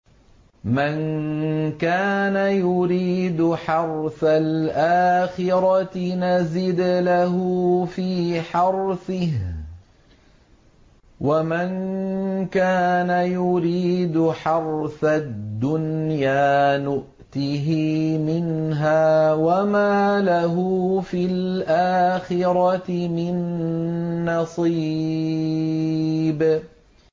مَن كَانَ يُرِيدُ حَرْثَ الْآخِرَةِ نَزِدْ لَهُ فِي حَرْثِهِ ۖ وَمَن كَانَ يُرِيدُ حَرْثَ الدُّنْيَا نُؤْتِهِ مِنْهَا وَمَا لَهُ فِي الْآخِرَةِ مِن نَّصِيبٍ